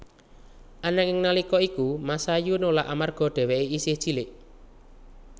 Ananging nalika iku Masayu nolak amarga dheweké isih cilik